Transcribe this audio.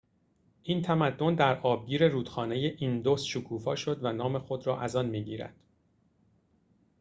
این تمدن در آبگیر رودخانه ایندوس شکوفا شد و نام خود را از آن می‌گیرد